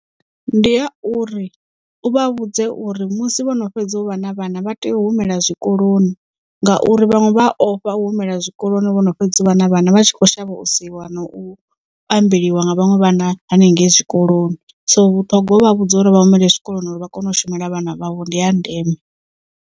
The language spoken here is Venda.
Ndi ha uri u vha vhudze uri musi vhono fhedza u vha na vhana vha tea u humela zwikoloni ngauri vhaṅwe vha a ofha u humela zwikoloni vhono fhedzi u vha na vhana vha tshi kho shavha u seiwa na u ambeliwa nga vhaṅwe vhana hanengei zwikoloni so vhuṱhogwa u vha vhudza uri vha humele zwikoloni uri vha kone u shumela vhana vhavho ndi ya ndeme.